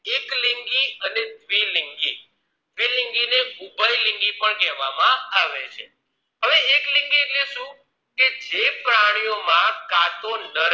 એકલિંગી અને દ્ગીલિંગી દ્ગીલિંગીને ઉભયલિંગી પણ કેહવામાં આવે છે હવે એકલિંગી એટલે શું કે જે પ્રાણીઓ માં કાચોનર